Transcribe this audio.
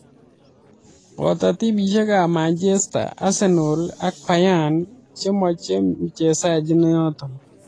Poto timisiek ab manchester, arsenal ak beyern che machei mchezajii inoto